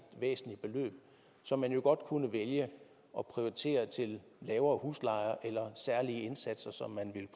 væsentligt beløb som man jo godt kunne vælge at prioritere til lavere huslejer og særlige indsatser som man